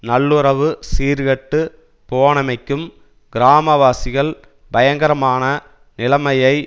நல்லுறவு சீர்கெட்டுப் போனமைக்கும் கிராமவாசிகள் பயங்கரமான நிலைமையை